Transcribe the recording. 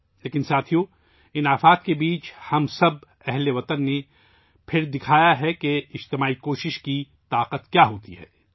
لیکن ساتھیوں ، ان آفات کے درمیان ہم سب ہم وطنوں نے پھر دکھا دیا ہے کہ اجتماعی کوشش کی قوت کیا ہوتی ہے